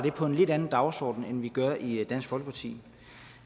på en lidt anden dagsorden end vi gør i dansk folkeparti